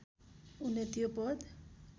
उनले त्यो पद